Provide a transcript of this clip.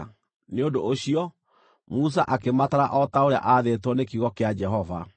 Nĩ ũndũ ũcio, Musa akĩmatara o ta ũrĩa aathĩtwo nĩ kiugo kĩa Jehova.